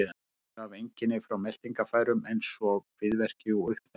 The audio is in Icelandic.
Sumir hafa einkenni frá meltingarfærum eins og kviðverki og uppþembu.